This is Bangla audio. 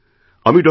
আমি ডিআর